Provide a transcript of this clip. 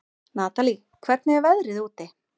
Natalí, hvernig er veðrið úti?